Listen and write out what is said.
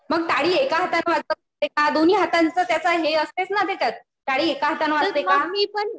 मग टाळी एका हाताने वाजते का? दोन्ही हातांच हे असते ना त्याच्यात. टाळी एका हाताने वाजते का?